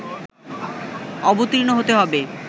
অবর্তীণ হতে হবে